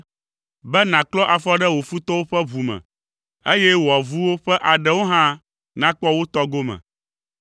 be nàklɔ afɔ ɖe wò futɔwo ƒe ʋu me, eye wò avuwo ƒe aɖewo hã nakpɔ wo tɔ gome.”